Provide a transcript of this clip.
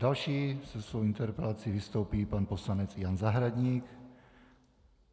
Další se svou interpelací vystoupí pan poslanec Jan Zahradník.